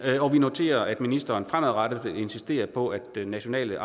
og vi noterer at ministeren fremadrettet vil insistere på at den nationale